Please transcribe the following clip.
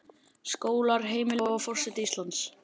Skólar, heimili, og forseti Íslands.